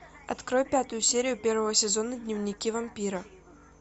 открой пятую серию первого сезона дневники вампира